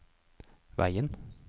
veien